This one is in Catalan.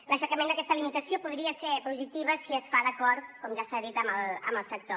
l’aixecament d’aquesta limitació podria ser positiva si es fa d’acord com ja s’ha dit amb el sector